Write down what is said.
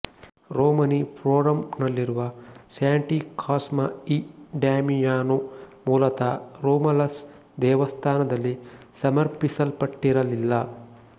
ರೋಮನಿ ಫೋರಂನಲ್ಲಿರುವ Santi Cosma e Damiano ಮೂಲತಃ Romulus ದೇವಸ್ಥಾನದಲ್ಲಿ ಸಮರ್ಪಿಸಲ್ಪಟ್ಟಿರಲಿಲ್ಲ